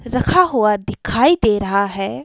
रखा हुआ दिखाई दे रहा है।